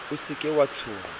o se ke wa tshoha